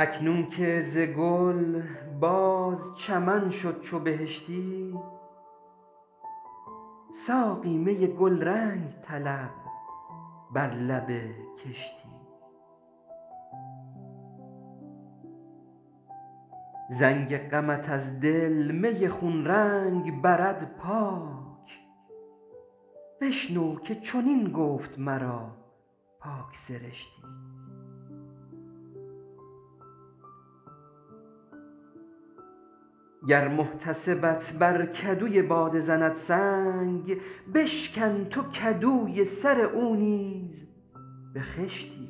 اکنون که ز گل باز چمن شد چو بهشتی ساقی می گلرنگ طلب بر لب کشتی زنگ غمت از دل می خون رنگ برد پاک بشنو که چنین گفت مرا پاک سرشتی گر محتسبت بر کدوی باده زند سنگ بشکن تو کدوی سر او نیز به خشتی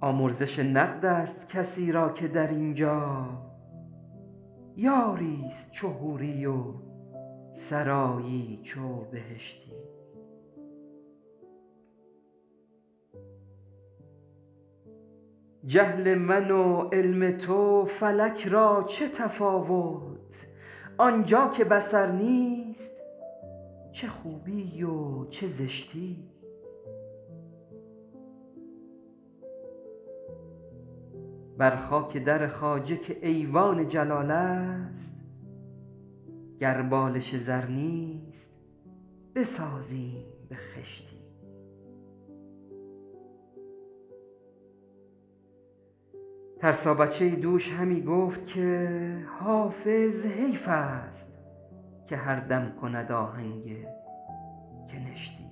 آمرزش نقد است کسی را که در اینجا یاریست چو حوری و سرایی چو بهشتی جهل من و علم تو فلک را چه تفاوت آنجا که بصر نیست چه خوبی و چه زشتی بر خاک در خواجه که ایوان جلال است گر بالش زر نیست بسازیم به خشتی ترسا بچه ای دوش همی گفت که حافظ حیف است که هر دم کند آهنگ کنشتی